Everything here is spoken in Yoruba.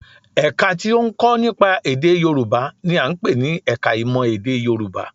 Ẹ̀ka tí ó ń kọ́ nípa èdè Yorùbá n i à ń pè ní ẹka ìmọ̀ èdè Yorùbá